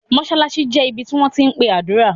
Mosalasi jẹ̀ ibí tí wọn ti npe adúra.